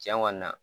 Tiɲɛ kɔni na